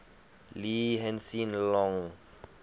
lee hsien loong